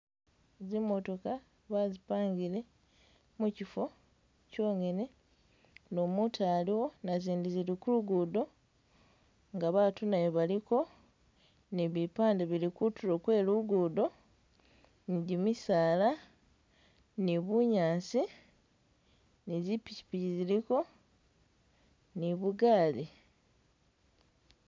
Zimotoka bazipangile mukifo kyongene nu mutu aluwo nazindi zili ku lugudo nga batu nayo baliko nipipande bili kutulo kwelugudo nijimisaala nibunyaasi nizi pishipishi ziliko nibugali